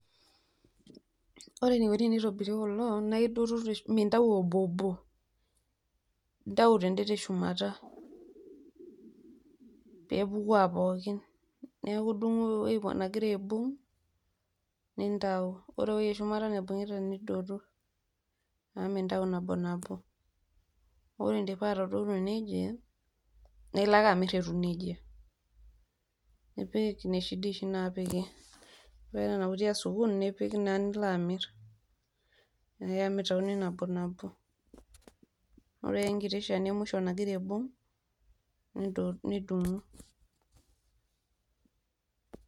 ore eneikoni kulo mintayu obobo, intau tede teshumata, pee epuku aapokin. neeku idung'u ewueji negira aibung' ore ewueji eshumata nintau. amu mintau nabo nabo. ore idipa atadotu nejia, nipik inoshi diishi naapiki. nilo amir. amu mitauni nabo nabo.